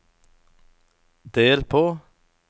del på